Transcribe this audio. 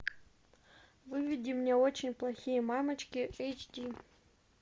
выведи мне очень плохие мамочки эйч ди